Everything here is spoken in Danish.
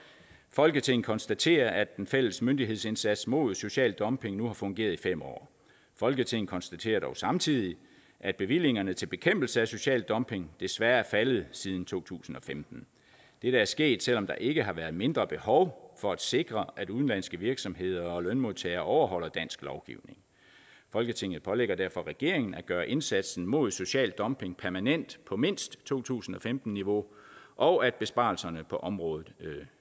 folketinget konstaterer at den fælles myndighedsindsats mod social dumping nu har fungeret i fem år folketinget konstaterer dog samtidig at bevillingerne til bekæmpelse af social dumping desværre er faldet siden to tusind og femten dette er sket selv om der ikke har været mindre behov for at sikre at udenlandske virksomheder og lønmodtagere overholder dansk lovgivning folketinget pålægger derfor regeringen at gøre indsatsen mod social dumping permanent på mindst to tusind og femten niveau og at besparelserne på området